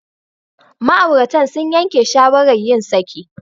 Ma'auratan sun yanke shawarar yin saki.